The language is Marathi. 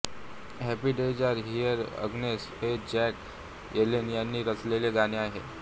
happy days are here again हे जॅक येलेन यांनी रचलेले गाणे आहे